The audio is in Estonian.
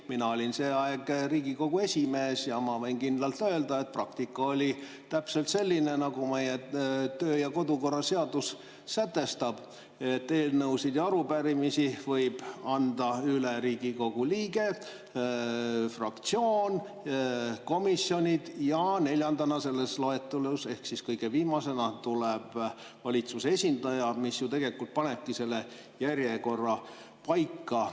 Mina olin see aeg Riigikogu esimees ja ma võin kindlalt öelda, et praktika oli täpselt selline, nagu meie töö- ja kodukorra seadus sätestab: et eelnõusid ja arupärimisi võib anda üle Riigikogu liige, fraktsioon, komisjon ja neljandana selles loetelus ehk siis kõige viimasena tuleb valitsuse esindaja, mis tegelikult panebki selle järjekorra paika.